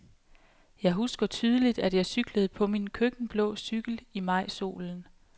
Jeg husker tydeligt, at jeg cyklede på min køkkenblå cykel i majsolen.